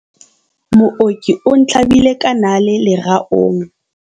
mooki o ntlhabile ka nale leraong